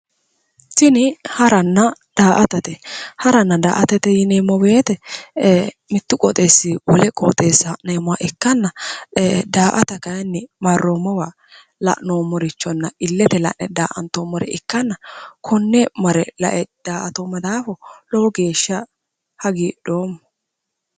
Tini haranna daa"atate haranna daa"atate yineemmo woyiite mittu qoxeessinni wole qoxeessa ha'neemmoha ikkanna daa"ata kayiinni marroommowa la'noommorichonna illete la'ne daa"antoommore ikkanna konne mare la"e daa"atoomma daafo lowo geeshsha hagidhoomma